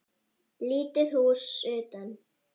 Lítið hús utan.